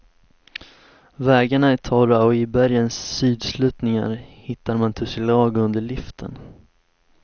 Vägarna är torra och i bergens sydsluttningar hittar man tussilago under liften.